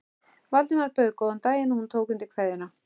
Valdimar bauð góðan daginn og hún tók undir kveðjuna.